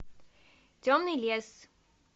темный лес